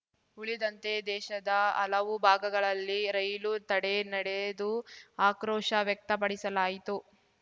ಉಳಿದಂತೆ ದೇಶದ ಹಲವು ಭಾಗಗಳಲ್ಲಿ ರೈಲು ತಡೆ ನಡೆದು ಆಕ್ರೋಶ ವ್ಯಕ್ತಪಡಿಸಲಾಯಿತು